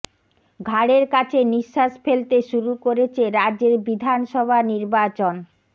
ঘাড়ের কাছে নিঃশ্বাস ফেলতে শুরু করেছে রাজ্যের বিধানসভা নির্বাচন